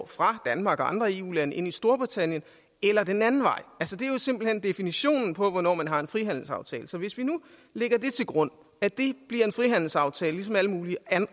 fra danmark og andre eu lande ind i storbritannien eller den anden vej det er jo simpelt hen definitionen på hvornår man har en frihandelsaftale så hvis vi nu lægger til grund at det bliver en frihandelsaftale som alle mulige